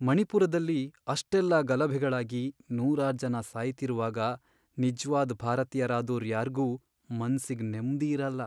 ಮಣಿಪುರದಲ್ಲಿ ಅಷ್ಟೆಲ್ಲ ಗಲಭೆಗಳಾಗಿ ನೂರಾರ್ ಜನ ಸಾಯ್ತಿರುವಾಗ ನಿಜ್ವಾದ್ ಭಾರತೀಯರಾದೋರ್ ಯಾರ್ಗೂ ಮನ್ಸಿಗ್ ನೆಮ್ದಿ ಇರಲ್ಲ.